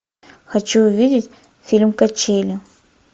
хочу увидеть фильм качели